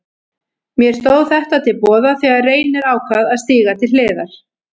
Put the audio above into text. Mér stóð þetta til boða þegar Reynir ákvað að stíga til hliðar.